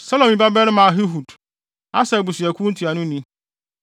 Selomi babarima Ahihud, Aser abusuakuw ntuanoni;